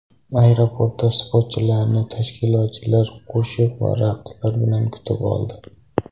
Aeroportda sportchilarni tashkilotchilar qo‘shiq va raqslar bilan kutib oldi.